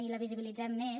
i la visibilitzem més